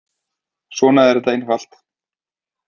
Svona er þetta einfalt.